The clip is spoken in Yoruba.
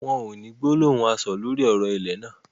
Wọn ò ní gbólóhùn aṣọ̀ lórí ọ̀rọ̀ ilẹ̀ náà